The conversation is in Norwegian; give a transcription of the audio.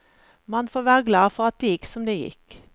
Man får være glad for at det gikk som det gikk.